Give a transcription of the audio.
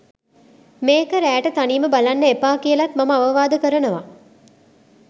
මේක රෑට තනියම බලන්න එපා කියලත් මම අවවාද කරනවා.